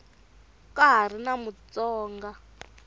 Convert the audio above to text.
ka ha ri na mutsonga